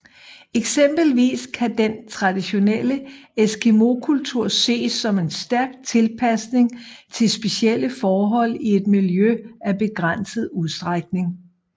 Eksempelvis kan den traditionelle eskimokultur ses som en stærk tilpasning til specielle forhold i et miljø af begrænset udstrækning